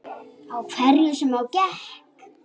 Á hverju sem á gekk.